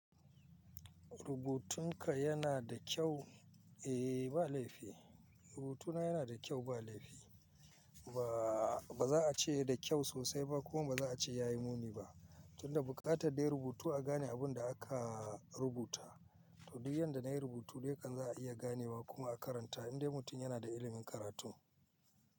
Rubutunka yana da kyau, eh ba laifi. Rubutuna yana da kyau ba laifi. Ba, ba za a ce da kyau sosai ba kuma ba za a ce ya yi muni ba, tunda buƙatar dai rubutu a gane abun da aka rubuta. To duk yanda na yi rubutu dai kan za a iya ganewa kuma a karanta in dai mutum yana da ilimin karatu.